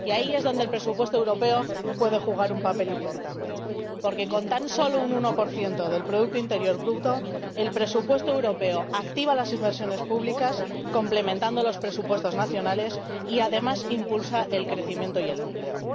Y ahí es donde el presupuesto europeo puede jugar un papel importante, porque con tan solo un 1 del producto interior bruto, el presupuesto europeo activa las inversiones públicas complementando los presupuestos nacionales y, además, impulsa el crecimiento y el empleo.